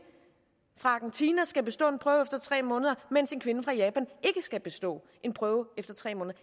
fra argentina skal bestå en prøve efter tre måneder mens en kvinde fra japan ikke skal bestå en prøve efter tre måneder